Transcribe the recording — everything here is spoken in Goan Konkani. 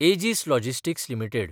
एजीस लॉजिस्टिक्स लिमिटेड